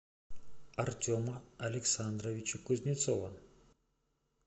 артема александровича кузнецова